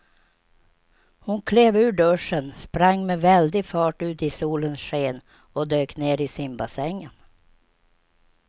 Hon klev ur duschen, sprang med väldig fart ut i solens sken och dök ner i simbassängen.